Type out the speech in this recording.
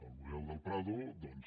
el museu del prado doncs